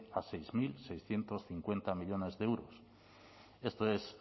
a seis mil seiscientos cincuenta millónes de unos esto es